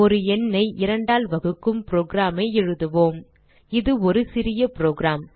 ஒரு எண்ணை இரண்டால் வகுக்கும் program ஐ எழுதுவோம் இது ஒரு சிறிய புரோகிராம்